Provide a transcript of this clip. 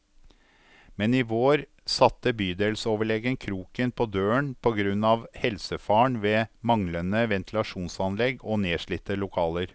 Men i vår satte bydelsoverlegen kroken på døren på grunn av helsefaren ved manglende ventilasjonsanlegg og nedslitte lokaler.